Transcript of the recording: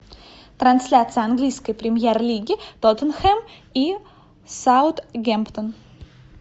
трансляция английской премьер лиги тоттенхэм и саутгемптон